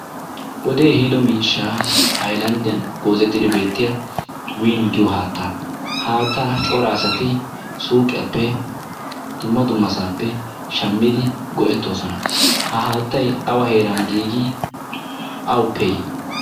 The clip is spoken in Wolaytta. wodee ehiido miishshaa ailanddiyan goozetidi beettiya win giyo haatta ha haattaa coraasati suuqiyaappe dumma dumasaappe shammidi go7ettoosona. ha haattai awa heeran giigi ?awuppe yi?